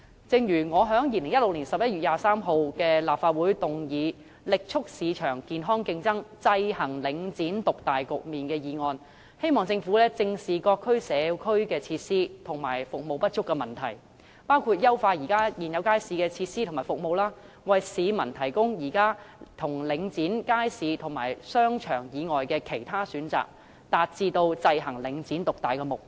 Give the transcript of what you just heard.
正如我在2016年11月23日的立法會會議上提出"力促市場健康競爭，制衡領展獨大局面"的議案，希望政府正視各區社區設施和服務不足的問題，包括優化現有街市的設施和服務，為市民提供現時領展街市和商場以外的其他選擇，達致制衡領展獨大的目標。